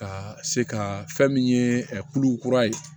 Ka se ka fɛn min ye kulu kura ye